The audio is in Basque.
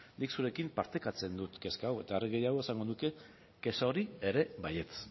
nik zurekin partekatzen dut kezka hau eta are gehiago esango nuke kexa hori ere baietz